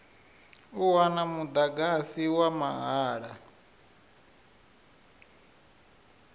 u wana mudagasi wa mahala